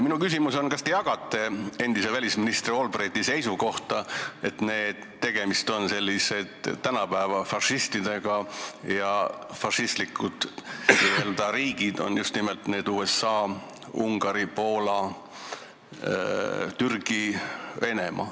Minu küsimus on, kas te jagate endise välisministri Albrighti seisukohta, et tegemist on tänapäeva fašistidega ja n-ö fašistlikud riigid on just nimelt USA, Ungari, Poola, Türgi, Venemaa.